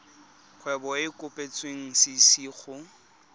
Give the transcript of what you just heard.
kgwebo e e kopetswengcc go